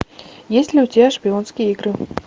есть ли у тебя шпионские игры